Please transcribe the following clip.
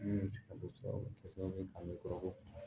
o bɛ kɛ sababu ye ka nege kɔrɔbɔ